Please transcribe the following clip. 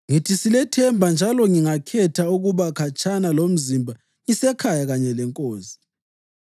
Ngithi silethemba njalo ngingakhetha ukuba khatshana lomzimba ngisekhaya kanye leNkosi.